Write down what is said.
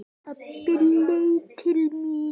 Pabbi leit til mín.